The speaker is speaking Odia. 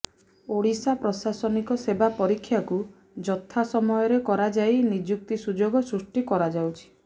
ଓଡିଶା ପ୍ରଶାସନିକ ସେବା ପରୀକ୍ଷାକୁ ଯଥାସମୟରେ କରାଯାଇ ନିଯୁକ୍ତି ସୁଯୋଗ ସୃଷ୍ଟି କରାଯାଉଛି